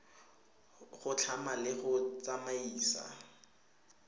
go tlhama le go tsamaisa